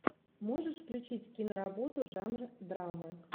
можешь включить киноработу жанра драма